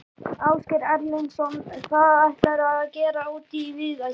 Ásgeir Erlendsson: Hvað ætlarðu að gera úti í Viðey?